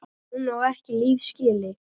Hún á ekki líf skilið.